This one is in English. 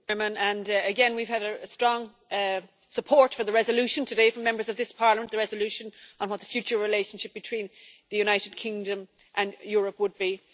Mr President, we've had strong support for the resolution today from Members of this Parliament the resolution on what the future relationship between the United Kingdom and Europe would be.